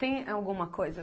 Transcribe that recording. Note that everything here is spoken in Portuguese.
Tem alguma coisa?